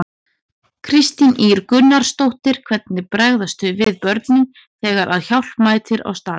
Kristín Ýr Gunnarsdóttir: Hvernig bregðast þau við, börnin, þegar að hjálp mætir á staðinn?